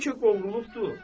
Bəlkə qovrulubdu.